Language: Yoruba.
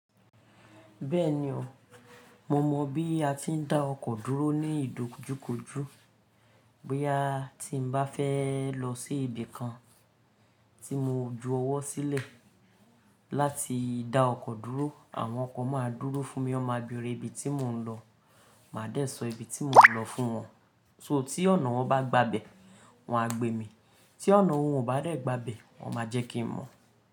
Bẹ́ẹ̀ni o, mo mọ̀ bí a ti ń dá ọkọ̀ dúró ní ìdojúkojú. Boya ti ń bá fẹ́ lọ sí ibi kan tí mo ju ọwọ́ sílẹ̀ láti dá ọkọ̀ dúró, àwọn ọkọ̀ máa dúró fún mi. Wọ́n máa bèrè ibi tí mò ń lọ, màá dé sọ ibi tí mò ń lọ fún wọn. So tí ọ̀nà wọn bá gba bẹ̀, wọn á gbé mi. Tí ọ̀nà wọn ò bá dé gba bẹ̀, wọn máa jẹ́ kí mọ̀.